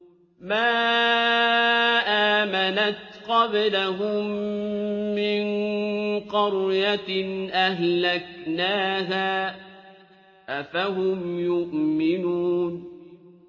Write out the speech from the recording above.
مَا آمَنَتْ قَبْلَهُم مِّن قَرْيَةٍ أَهْلَكْنَاهَا ۖ أَفَهُمْ يُؤْمِنُونَ